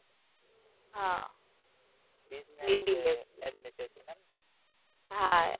હ business admitted છે ને હા